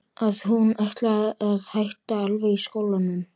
Að hún ætlaði að hætta alveg í skólanum.